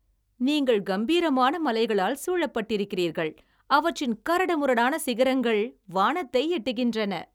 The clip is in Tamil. நீங்கள் கம்பீரமான மலைகளால் சூழப்பட்டிருக்கிறீர்கள், அவற்றின் கரடுமுரடான சிகரங்கள் வானத்தை எட்டுகின்றன.